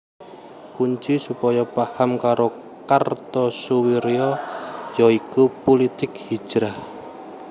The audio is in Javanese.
Kunci supaya paham karo Kartosoewirjo ya iku pulitik hijrah